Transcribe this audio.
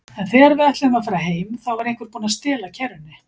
En þegar við ætluðum að fara heim, þá var einhver búinn að stela kerrunni.